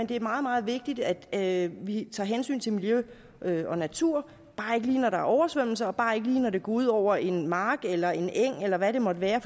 det er meget meget vigtigt at vi tager hensyn til miljø og natur bare ikke lige når der er oversvømmelser og bare ikke lige når det går ud over en mark eller en eng eller hvad det måtte være